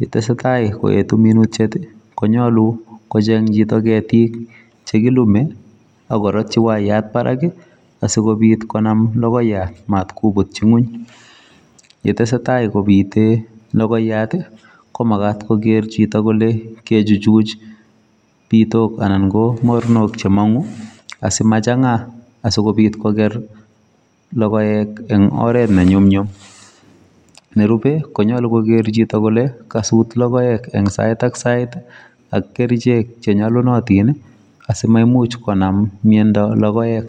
yetesetai koetu minutiet, konyolu kocheng' chito ketik chekilume, akoratchi waiyat barak, asikobiit konam logoiyat matkobutchi ng'wuny. yetesetai kobite logoiyat, komagat kogeer chito kole kechuchuch biitok anan komorunok chemang'u asimachang'a asikobiit koger logoek eng' oret nenyumnyum, nerube, konyolu kogeer chiuto kole kasut logoek ing' sait ak kerichek chenyolunotin asimaimuch konam mnyondo logoek